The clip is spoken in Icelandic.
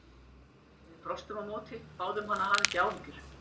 Við brostum á móti, báðum hann að hafa ekki áhyggjur.